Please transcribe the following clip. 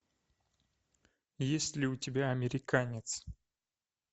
есть ли у тебя американец